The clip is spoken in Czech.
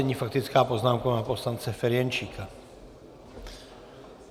Nyní faktická poznámka pana poslance Ferjenčíka.